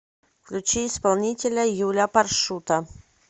включи исполнителя юля паршута